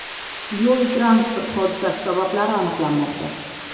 Yo‘l-transport hodisasi sabablari aniqlanmoqda.